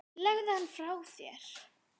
Legðu hann frá þér